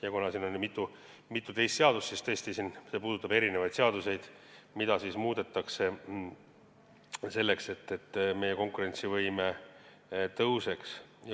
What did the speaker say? Ja kuna siin oli mitu teist seadust, siis tõesti, see puudutab erinevaid seadusi, mida muudetakse selleks, et meie konkurentsivõime paraneks.